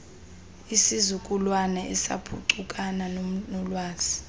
isizukulwana esaphuncukana noolwazi